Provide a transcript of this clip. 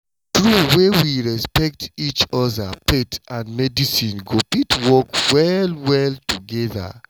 true wey we respect each other faith and medicine go fit work well well together.